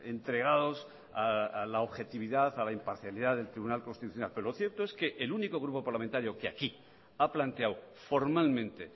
entregados a la objetividad a la imparcialidad del tribunal constitucional pero lo cierto es que el único grupo parlamentario que aquí ha planteado formalmente